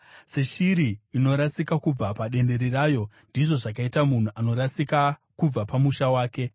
Seshiri inorasika kubva padendere rayo, ndizvo zvakaita munhu anorasika kubva pamusha wake.